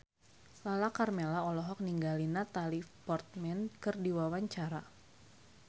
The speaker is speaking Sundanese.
Lala Karmela olohok ningali Natalie Portman keur diwawancara